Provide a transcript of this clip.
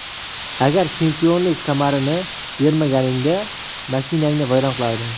Agar chempionlik kamarini bermaganingda, mashinangni vayron qilardim.